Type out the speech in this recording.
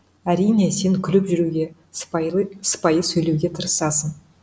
әрине сен күліп жүруге сыпайы сөйлеуге тырысасың